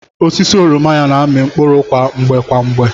Osisi oroma ya na-ami mkpụrụ kwa mgbe kwa mgbe.